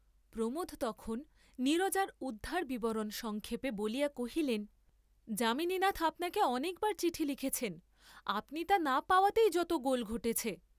প্রমোদ তখন নীরজার উদ্ধার বিবরণ সংক্ষেপে বলিয়া কহিলেন, যামিনীনাথ আপনাকে অনেক বার চিঠি লিখেছেন; আপনি তা না পাওয়াতেই যত গোল ঘটেছে।